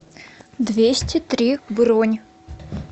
двести три бронь